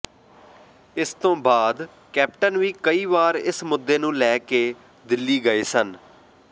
ਇਸ ਤੋਂ ਬਾਅਦ ਕੈਪਟਨ ਵੀ ਕਈ ਵਾਰ ਇਸ ਮੁੱਦੇ ਨੂੰ ਲੈ ਕੇ ਦਿੱਲੀ ਗਏ ਸਨ